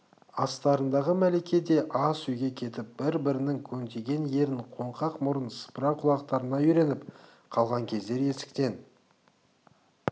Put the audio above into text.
астарындағы мәлике де ас үйге кетіп бір-бірінің көнтиген ерін қоңқақ мұрын сыпыра құлақтарына үйреніп қалған кездер есіктен